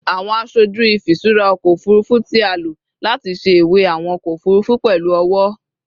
Awọn aṣoju ifiṣura ọkọ ofurufu ti a lo lati ṣe iwe awọn ọkọ ofurufu pẹlu ọwọ